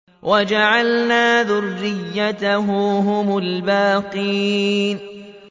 وَجَعَلْنَا ذُرِّيَّتَهُ هُمُ الْبَاقِينَ